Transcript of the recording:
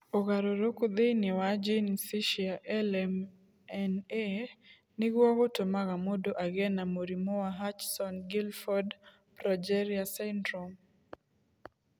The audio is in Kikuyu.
Ũgarũrũku thĩinĩ wa jinici cia LMNA nĩguo gũtũmaga mũndũ agĩe na mũrimũ wa Hutchinson Gilford progeria syndrome.